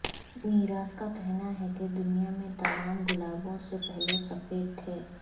میراث کا کہنا ہے کہ دنیا میں تمام گلابوں سے پہلے سفید تھے